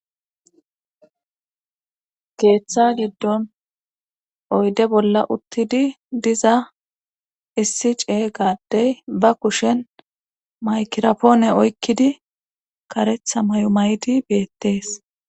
keeththa giddon oyde bolla uttidi diza issi cey gaaddey ba kushen maykirapoone oykkidi karetha may7o may7ti beettees